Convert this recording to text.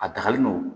A dagalen don